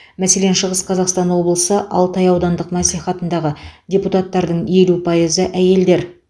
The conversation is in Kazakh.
мәселен шығыс қазақстан облысы алтай аудандық мәслихатындағы депутаттардың елу пайызы әйелдер